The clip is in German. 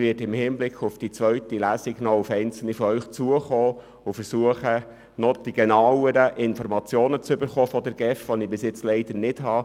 Aber ich werde im Hinblick auf die zweite Lesung noch auf einige von Ihnen zugehen und bis dahin versuchen, von der GEF genauere Informationen zu erhalten, die ich bis anhin leider nicht habe.